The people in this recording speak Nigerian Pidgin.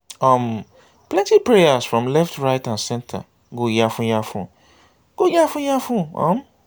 um plenti prayers from left right and center go yafun yafun go yafun yafun um